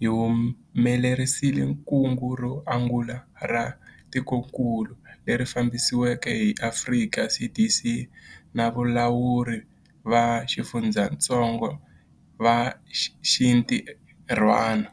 hi humelerisile kungu ro angula ra tikokulu, leri fambisiweke hi Afrika CDC na valawuri va xifundzatsongo va xintirhwana.